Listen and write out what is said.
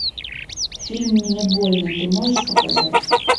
фильм мне больно ты можешь показать